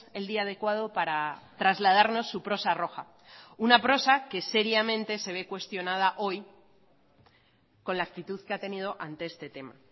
el día adecuado para trasladarnos su prosa roja una prosa que seriamente se ve cuestionada hoy con la actitud que ha tenido ante este tema